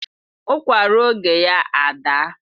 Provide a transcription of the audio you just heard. Ukwa rụọ oge ya adaa